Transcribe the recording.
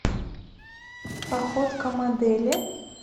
походка модели